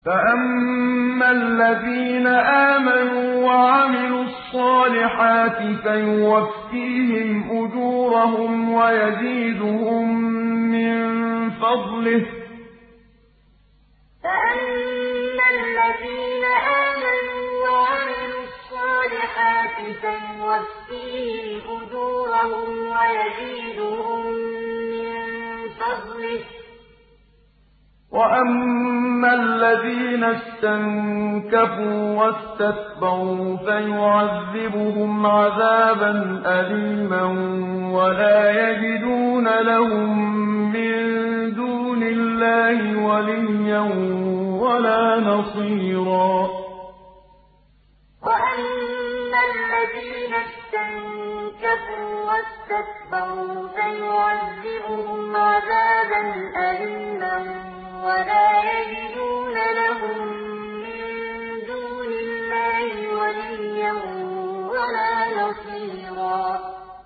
فَأَمَّا الَّذِينَ آمَنُوا وَعَمِلُوا الصَّالِحَاتِ فَيُوَفِّيهِمْ أُجُورَهُمْ وَيَزِيدُهُم مِّن فَضْلِهِ ۖ وَأَمَّا الَّذِينَ اسْتَنكَفُوا وَاسْتَكْبَرُوا فَيُعَذِّبُهُمْ عَذَابًا أَلِيمًا وَلَا يَجِدُونَ لَهُم مِّن دُونِ اللَّهِ وَلِيًّا وَلَا نَصِيرًا فَأَمَّا الَّذِينَ آمَنُوا وَعَمِلُوا الصَّالِحَاتِ فَيُوَفِّيهِمْ أُجُورَهُمْ وَيَزِيدُهُم مِّن فَضْلِهِ ۖ وَأَمَّا الَّذِينَ اسْتَنكَفُوا وَاسْتَكْبَرُوا فَيُعَذِّبُهُمْ عَذَابًا أَلِيمًا وَلَا يَجِدُونَ لَهُم مِّن دُونِ اللَّهِ وَلِيًّا وَلَا نَصِيرًا